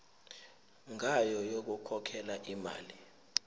ngayo yokukhokhela imali